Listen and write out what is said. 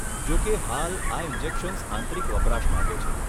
જોકે, હાલ, આ ઇન્જેક્શન્સ આંતરિક વપરાશ માટે છે.